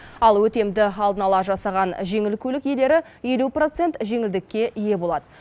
ал өтемді алдын ала жасаған жеңіл көлік иелері елу процент жеңілдікке ие болады